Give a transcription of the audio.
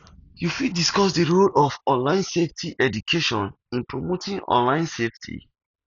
you fit discuss di role of online safety education in promoting online safety